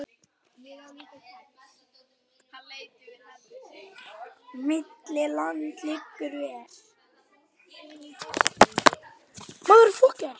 Milli landa liggur ver.